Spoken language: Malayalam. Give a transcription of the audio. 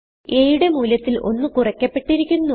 a യുടെ മൂല്യത്തിൽ 1 കുറയ്ക്കപ്പെട്ടിരിക്കുന്നു